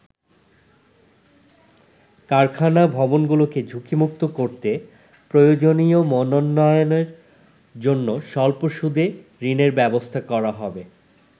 কারখানা ভবনগুলোকে ঝুঁকিমুক্ত করতে প্রয়োজনীয় মানোন্নয়নের জন্য স্বল্প সুদে ঋণের ব্যবস্থা করা হবে।